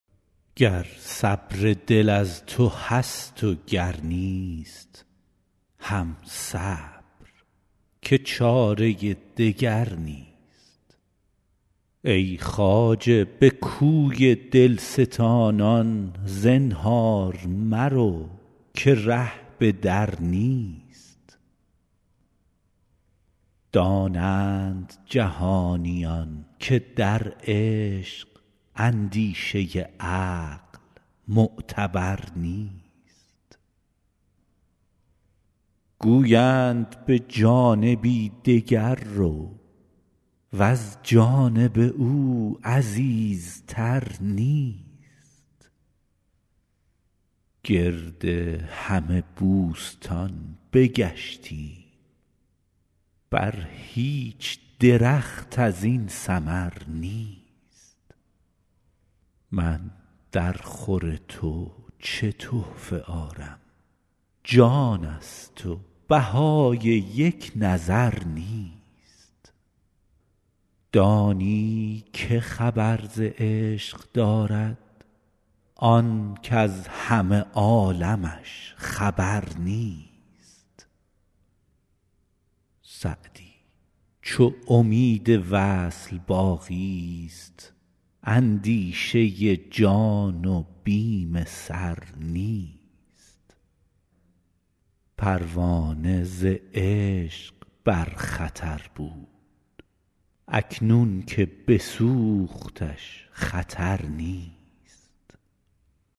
گر صبر دل از تو هست و گر نیست هم صبر که چاره دگر نیست ای خواجه به کوی دل ستانان زنهار مرو که ره به در نیست دانند جهانیان که در عشق اندیشه عقل معتبر نیست گویند به جانبی دگر رو وز جانب او عزیزتر نیست گرد همه بوستان بگشتیم بر هیچ درخت از این ثمر نیست من درخور تو چه تحفه آرم جان ست و بهای یک نظر نیست دانی که خبر ز عشق دارد آن کز همه عالمش خبر نیست سعدی چو امید وصل باقی ست اندیشه جان و بیم سر نیست پروانه ز عشق بر خطر بود اکنون که بسوختش خطر نیست